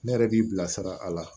Ne yɛrɛ b'i bilasira a la